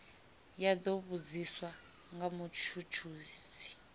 ya do vhudziswa nga mutshutshisi